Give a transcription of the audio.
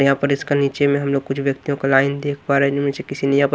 यहां पर इसका नीचे में हम लोग कुछ व्यक्तियों का लाइन देख पा रहे हैं इनमें से किसी ने यहाँ पर --